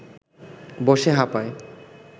বসে হাঁপায়